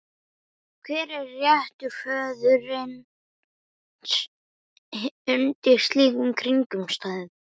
Hver er réttur föðurins undir slíkum kringumstæðum?